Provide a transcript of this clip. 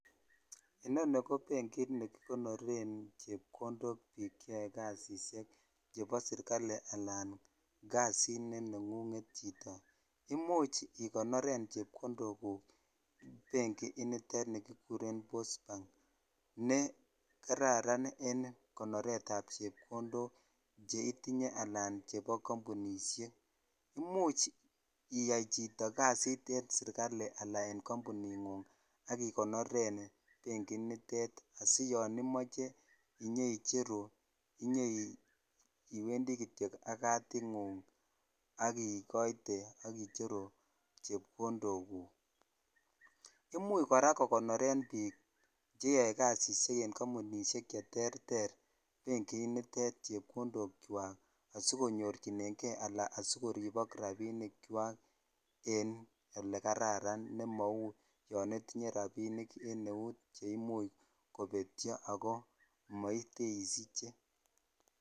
Inoni ko benkit nekikonoren chepkondok biik cheyoe kasisiek chebo serikali anan kasit ne nengunget chito. Imuch ikonoren chepkondoguk benkinitet nekikuren Post Bank ne kararan en konoretab chepkondok cheitinye anan chebo kampunisiek. Imuch iyai chito kasit en serikali ana en kampuningung ak igoneren benkit nitet asiyon imoche inyeicheru inyeiwendi kityo ak kadingung ak ikoite ak icheru chepkondokuk. Imuch kora kokonoren biik cheyoe kasisiek en Kampunisiek cheterter benkit nitet chepkondokywak asikonyorchinenge anan asikoribok rapinikywak en olekararan nemau yon itinye rapinik en eut chemuch kobetyo ago moiteisiche.